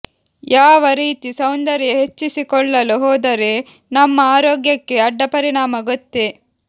ಯಾವ ರೀತಿ ಸೌಂದರ್ಯ ಹೆಚ್ಚಿಸಿಕೊಳ್ಳಲು ಹೋದರೆ ನಮ್ಮ ಆರೋಗ್ಯಕ್ಕೆ ಅಡ್ಡಪರಿಣಾಮ ಗೋತ್ತೆ